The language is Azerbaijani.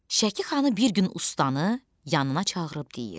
Şəki xanı bir gün ustanı yanına çağırıb deyir: